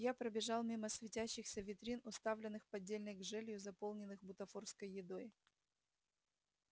я пробежал мимо светящихся витрин уставленных поддельной гжелью заполненных бутафорской едой